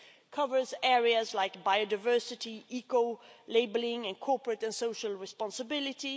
covers areas like biodiversity, eco labelling and corporate and social responsibility